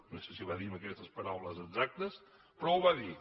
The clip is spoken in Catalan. no sé si ho va dir amb aquestes paraules exactes però ho va dir